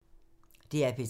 DR P3